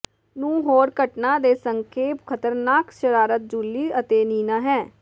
ਨੂੰ ਹੋਰ ਘਟਨਾ ਦੇ ਸੰਖੇਪ ਖਤਰਨਾਕ ਸ਼ਰਾਰਤ ਜੂਲੀ ਅਤੇ ਨੀਨਾ ਹੈ